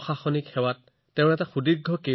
প্ৰশাসনিক সেৱাত তেওঁৰ কেৰিয়াৰ দীঘলীয়া আছিল